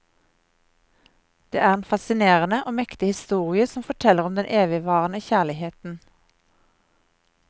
Det er en fascinerende og mektig historie som forteller om den evigvarende kjærligheten.